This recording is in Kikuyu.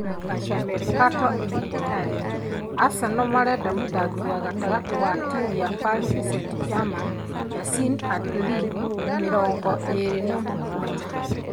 (Calciomercato - in Italian) Arsenal marenda mũthaki wa gatagatĩ wa timu ya Paris St-Germain, Yacine Adli mĩrongo ĩĩrĩ na mũgwanja